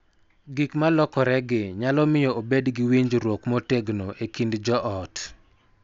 Gik ma lokoregi nyalo miyo obed gi winjruok motegno e kind joot,